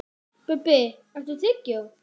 Bubbi, áttu tyggjó?